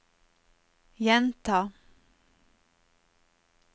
gjenta